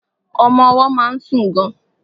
Ọmọ ọwọ́ má ń sùn gan.